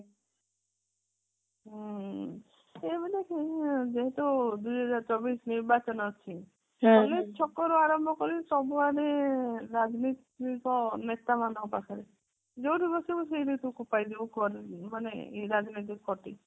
ହୁଁ ଯେହେତୁ ଦୁଇ ହଜାର ଚବିଶ ନିର୍ବାଚନ ଅଛି ଛକ ରୁ ଆରମ୍ଭ କରି ସବୁ ଆଡେ ରାଜନୀତିକ ନେତା ମାନଙ୍କ ପାଖରେ ଯୋଉଠି ବସିଛି ସେଇଠି ମାନେ ଇଏ ରାଜନୀତିକ ଖଟି